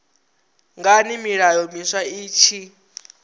ngani milayo miswa i tshi